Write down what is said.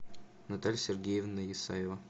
наталья сергеевна исаева